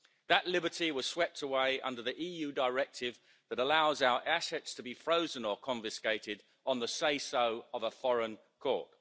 That liberty was swept away under the EU Directive that allows our assets to be frozen or confiscated on the say-so of a foreign court.